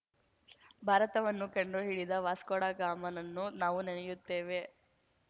ಭಾರತವನ್ನು ಕಂಡು ಹಿಡಿದ ವಾಸ್ಕೋಡಗಾಮನನ್ನು ನಾವು ನೆನೆಯುತ್ತೇವೆ